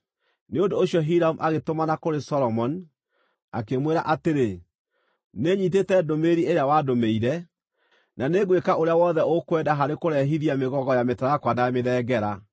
Nĩ ũndũ ũcio Hiramu agĩtũmana kũrĩ Solomoni, akĩmwĩra atĩrĩ: “Nĩnyiitĩte ndũmĩrĩri ĩrĩa wandũmĩire, na nĩngwĩka ũrĩa wothe ũkwenda harĩ kũrehithia mĩgogo ya mĩtarakwa na ya mĩthengera.